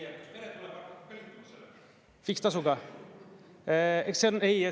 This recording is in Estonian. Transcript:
Fikstasuga?